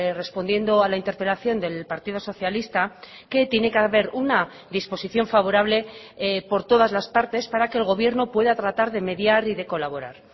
respondiendo a la interpelación del partido socialista que tiene que haber una disposición favorable por todas las partes para que el gobierno pueda tratar de mediar y de colaborar